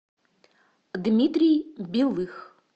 дмитрий белых